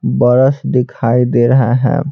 बरस दिखाई दे रहा है।